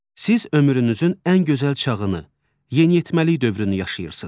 Siz ömrünüzün ən gözəl çağını, yeniyetməlik dövrünü yaşayırsınız.